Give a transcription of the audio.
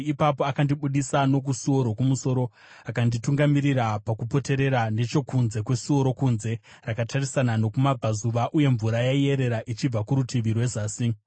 Ipapo akandibudisa nokusuo rokumusoro akanditungamirira pakupoterera nechokunze kwesuo rokunze rakatarisana nokumabvazuva, uye mvura yaiyerera ichibva kurutivi rwezasi.